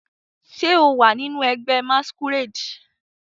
Ṣe o wa ninu ẹgbẹ masquerade?